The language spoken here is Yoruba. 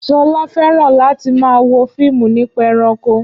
Ṣọlá fẹ́ràn láti máa wo fíìmù nípa ẹranko